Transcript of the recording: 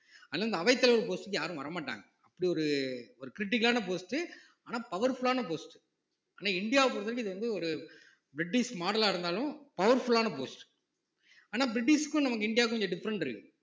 அதனால இந்த அவைத்தலைவர் post க்கு யாரும் வர மாட்டாங்க அப்படி ஒரு ஒரு critical ஆன post ஆனா powerful ஆன post ஆனா இந்தியாவைப் பொறுத்தவரைக்கும் இது வந்து ஒரு பிரிட்டிஷ் model ஆ இருந்தாலும் powerful ஆன post ஆனா பிரிட்டிஷ்க்கும் நமக்கு இந்தியாவுக்கும் கொஞ்சம் different இருக்கு